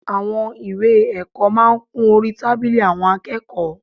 Àwọn ìwé ẹ̀kọ́ máa ń kún orí tábìlì àwọn akẹ́kọ̀ọ́